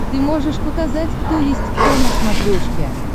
ты можешь показать кто есть кто на смотрешке